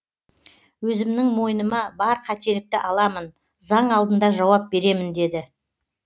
өзімнің мойныма бар қателікті аламын заң алдында жауап беремін деді